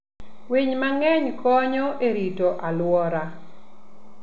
Winy mang'eny konyo e rito alwora.